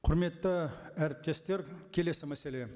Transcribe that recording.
құрметті әріптестер келесі мәселе